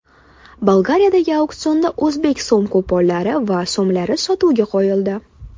Bolgariyadagi auksionda o‘zbek so‘m-kuponlari va so‘mlari sotuvga qo‘yildi.